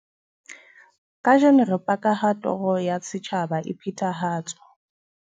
"Kajeno re paka ha toro ya setjhaba e phethahatswa."